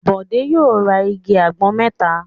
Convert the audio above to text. Bọ̀dé yóò tlrs igi àgbọn mẹ́ta!